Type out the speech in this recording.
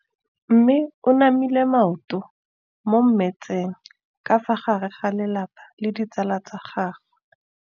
Mme o namile maoto mo mmetseng ka fa gare ga lelapa le ditsala tsa gagwe.